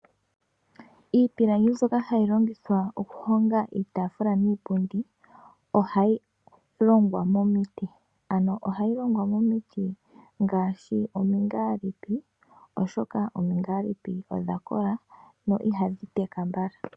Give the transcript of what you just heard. Iipilangi mbyoka hayi longithwa okuhonga iitafula niipundi ohayi longwa momiti. Ano ohayi longwa momiti ngaashi omingalipi oshoka omingalipi odha kola no ihadhi teka mbala.